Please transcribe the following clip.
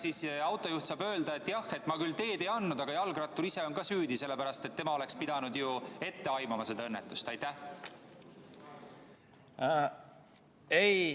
Kas autojuht saab öelda, et jah, ma küll teed ei andnud, aga jalgrattur ise on ka süüdi, sellepärast et tema oleks pidanud seda õnnetust ette aimama?